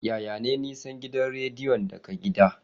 Yaya ne nisan gidan rediyon daga gida?